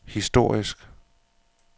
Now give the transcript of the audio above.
historisk